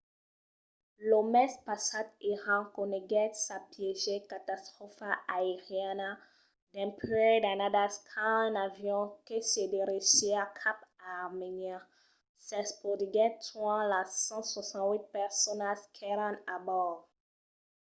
lo mes passat iran coneguèt sa pièger catastròfa aeriana dempuèi d'annadas quand un avion que se dirigissiá cap a armènia s'espotiguèt tuant las 168 personas qu"èran a bòrd